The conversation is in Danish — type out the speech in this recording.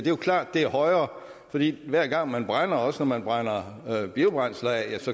jo klart at det er højere fordi hver gang man brænder af også når man brænder biobrændsler af